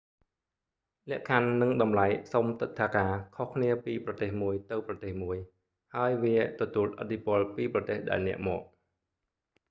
លក្ខខណ្ឌនិងតម្លៃសុំទិដ្ឋាការខុសគ្នាពីប្រទេសមួយទៅប្រទេសមួយ ហើយវាទទួលឥទ្ធិពលពីប្រទេសដែលអ្នកមក